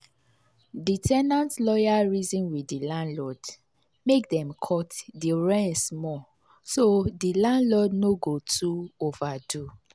the ten ant lawyer reason with the landlord make dem cut the rent small so the landlord no go too overdo